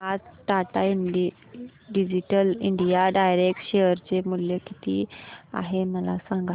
आज Tata digital India direct share चे मूल्य किती आहे मला सांगा